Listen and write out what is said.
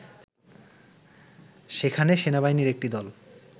সেখানে সেনাবাহিনীর একটি দল